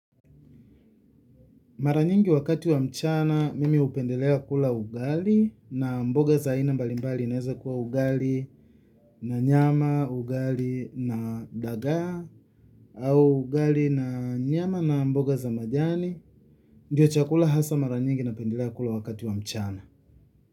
Mara nyingi wakati wa mchana, mimi hupendelea kula ugali na mboga za aina mbalimbali inaweza kuwa ugali na nyama, ugali na dagaa, au ugali na nyama na mboga za majani. Ndio chakula hasa mara nyingi napendelea kula wakati wa mchana.